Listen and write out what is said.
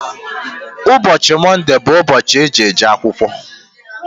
Ụbọchị Mọnde bụ ụbọchị eji-eje akwụkwọ.